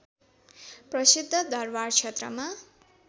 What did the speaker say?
प्रसिद्ध दरवार क्षेत्रमा